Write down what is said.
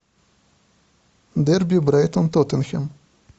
дерби брайтон тоттенхэм